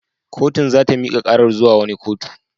Kotun za ta mika karar zuwa wani kotu.